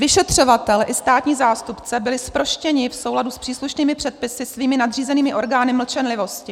Vyšetřovatel i státní zástupce byli zproštěni v souladu s příslušnými předpisy svými nadřízenými orgány mlčenlivosti.